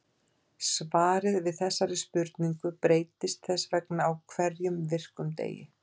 Svarið við þessari spurning breytist þess vegna á hverjum virkum degi.